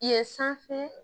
Ye sanfɛ